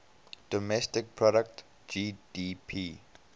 domestic product gdp